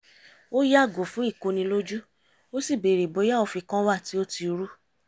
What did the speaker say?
ó yàgò fún ìkonilójú ó sì bèrè bóyá òfin kan wà tí ó ti rú